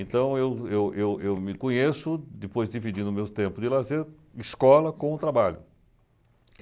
Então, eu eu eu eu me conheço, depois dividindo o meu tempo de lazer, escola com trabalho.